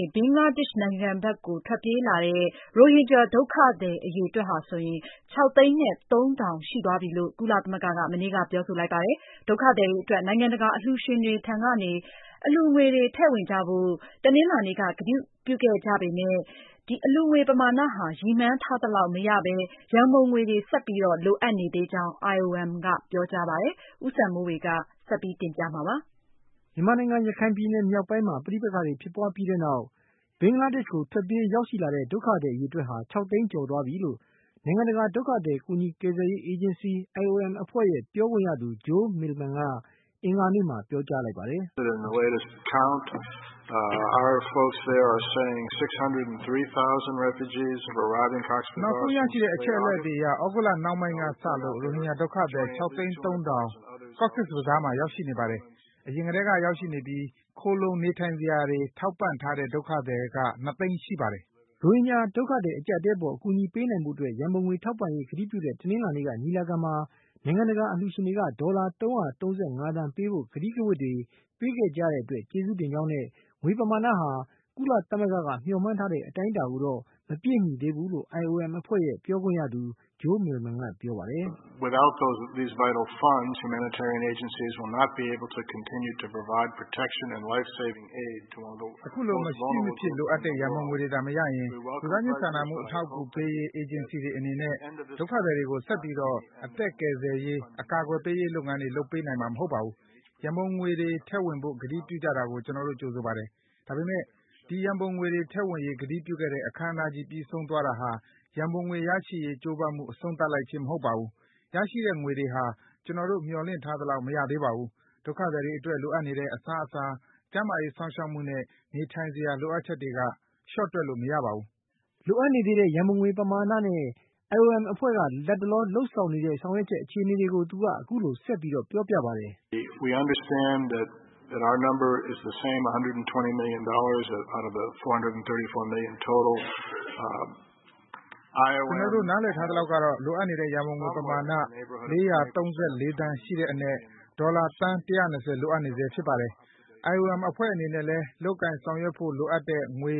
ေ ဘင်္ဂလားဒေ့ရှ် နိုင်ငံဖက်ကို ထွက်ပြေး ရောက်ရှိနေတဲ့ ရိုဟင်ဂျာ ဒုက္ခသည် အရေအတွက်ဟာ ၆ သိန်း နဲ့ ၃ ထောင်ရှိသွားပြီလို့ ကုလသမဂ္ဂက ပြောဆိုပါတယ်။ ဒုက္ခသည် တွေအတွက် နိုင်ငံတကာ အလှုရှင်တွေထံကနေ အလှုငွေတွေ ထည့်ဝင်ကြဖို့ တနင်္လာနေ့က ကတိပြုခဲ့ကြပေမယ့် ကတိပြုကြတဲ့ အလှုငွေ ပမာဏဟာ ရည်မှန်းထား သလောက် မရရှိဘဲ ရံပုံငွေတွေ လိုအပ်နေသေးကြောင်း IOM အဖွဲ့က ပြောကြားလိုက်ပါတယ်။ အကြောင်းစုံကို ဦးစံမိုးေ၀ က တင်ပြထားပါတယ်။ ရခိုင်ပြည်နယ် မြောက်ပိုင်းမှာ ပဋိပက္ခတွေ ဖြစ်ပွားပြီးတဲ့နောက် ဘင်္ဂလေားဒေရှ့်ကို ထွက်ပြေး ရောက်ရှိလာတဲ့ ဒုက္ခသည် အရေအတွက်ဟာ ၆ သိန်း ၃ ထောင် ရှိသွားပြီဖြစ်ကြောင်း ကုလသမဂ္ဂ နိုင်ငံတကာ ဒုက္ခသည် ကူညီကယ်ဆယ်ရေး အေဂျင်စီ IOM အဖွဲ့ရဲ့ ပြောခွင့်ရသူ Joe Millman က ပြောပါတယ်။ “ နောက်ဆုံး ရရှိထားတဲ့ အချက်လက်တွေအရ သြဂုတ်လ နှောင်းပိုင်းက စလို့ ရိုဟင်ဂျာ ဒုက္ခသည် ၆ သိန်း ၃ ထောာင် Cox’s Bazar မှာ ရောက်ရှိနေပါတယ်။ အရင်ကတည်းက ရောက်ရှိနေပြီးသား ခိုလှုံနေထိုင်စရာတွေ ထောက်ပံ့ပေးထားတဲ့ ဒုက္ခသည် က ၂ သိန်းရှိပါတယ်။” ရိုဟင်ဂျာ ဒုက္ခသည် အကျပ်အတည်း အပေါ် အကူအညီပေးနိုင်ဖို့ အတွက် ရံပုံငွေ ထောက်ပံ့ရေး ကတိပြုတဲ့ တနင်္လာနေ့ကညီလာခံမှာ နိုင်ငံတကာ အလှုရှင်တွေထံက ဒေါ်လာ ၃၃၅ သန်း ပေးဖို့ ကတိကဝတ်တွေ ပေးခဲ့ကြတဲ့ အတွက် ကျေးဇူးတင်ကြောင်းနဲ့ငွေပမာဏဟာ ကုလသမဂ္ဂက မျှော်မှန်းထားတဲ့ အတိုင်းအတာကိုတော့ မပြည့်မီသေးဘူးလို့ IOM အဖွဲ့ရဲ့ ပြောခွင့်ရသူ Joe Millaman က ပြောပါတယ်။ “ အခုလို မရှိမဖြစ် လိုအပ်တဲ့ ရံပုံငွေတွေသာ မရရင် လူသားချင်း စာနာမှု အထောက်အကူ ပေးရေး အေဂျင်စီတွေ အနေနဲ့ ဒုက္ခသည်တွေကို ဆက်ပြီးတော့ အသက်ကယ်ဆယ်ရေး၊ အကာအကွယ်ပေးရေး လုပ်ငန်းတွေ လုပ်ပေးနိုင်မှာ မဟုတ်ပါဘူး။ ရံပုံငွေတွေ ထည့်ဝင်ဖို့ ကတိပြုကြတာကို ကျနော်တို့ ကြိုဆိုပါတယ်။ ဒါပေမယ့် ဒီရံပုံငွေ ထည့်ဝင်ရေး ကတိပြုတဲ့ အခမ်းအနားကြီး ပြီးဆုံးသွားတာဟာ ရံပုံငွေရရှိရေး ကြိုးပမ်းမှု အဆုံးသတ်လိုက်ခြင်း မဟုတ်ပါဘူး။ ရရှိတဲ့ငွေဟာ ကျနော်တို့ မျှော်လင့်ထားသလောက် မရသေးပါဘူး။ ဒုက္ခသည်တွေ အတွက် လိုအပ်နေတဲ့ အစားအစာ၊ ကျန်းမာရေး စောင့်ရှောက်မှုနဲ့ နေထိုင်စရာ လိုအပ်ချက်တွေက လျှော့တွက်လို့ မရပါဘူး။” လိုအပ်နေသေးတဲ့ ရံပုံငွေ ပမာဏနဲ့ IOM အဖွဲ့ လက်တလော လုပ်ဆောင်နေရတဲ့ အခြေအနေကို သူက အခုလို ဆက်ပြောပါတယ်။ “ ကျနော်တို့ နားလည်ထား သလောက်ကတော့ လိုအပ်နေတဲ့ ရံပုံငွေ ပမာဏ ၄၃၄ သန်း ရှိတဲ့ အနက် ဒေါ်လာ သန်း ၁၂၀ လိုအပ်နေဆဲ ဖြစ်ပါတယ်။ IOM အဖွဲ့ အနေနဲ့လည်း လုပ်ကိုင်ဆောင်ရွက်ဖို့ လိုအပ်တဲ့ ငွေ